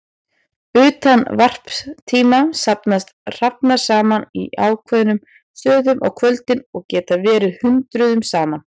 Utan varptíma safnast hrafnar saman á ákveðnum stöðum á kvöldin og geta verið hundruðum saman.